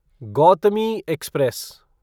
Gautami express